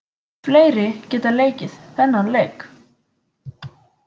Fleiri geta leikið þennan leik.